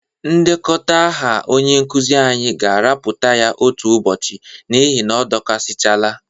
Ndekọta aha onye nkụzị anyị ga-arapụta ya otu ụbọchị n'ihi na ọ dọkasịchala.